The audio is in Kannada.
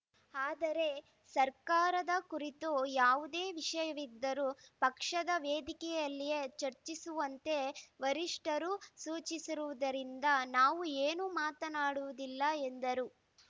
ಆದರೆ ಸರ್ಕಾರದ ಕುರಿತು ಯಾವುದೇ ವಿಷಯವಿದ್ದರೂ ಪಕ್ಷದ ವೇದಿಕೆಯಲ್ಲಿಯೇ ಚರ್ಚಿಸುವಂತೆ ವರಿಷ್ಠರು ಸೂಚಿಸಿರುವುದರಿಂದ ನಾವು ಏನೂ ಮಾತನಾಡುವುದಿಲ್ಲ ಎಂದರು